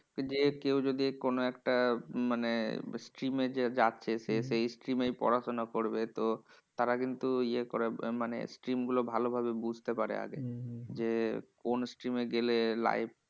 যে কেউ যদি কোনো একটা মানে stream এ যে যাচ্ছে, সে সেই stream এই পড়াশোনা করবে তো তারা কিন্তু ইয়ে করে মানে stream গুলো বুঝতে পারে আগেই । যে কোন stream এ গেলে life